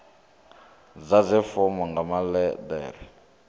ḓadze fomo nga maḽe ḓere